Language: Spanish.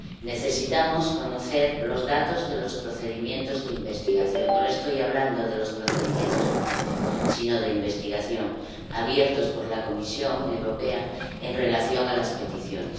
Necesitamos conocer los datos de los procedimientos de investigación —no le estoy hablando de los procedimientos de infracción, sino de investigación— abiertos por la Comisión Europea en relación con las peticiones.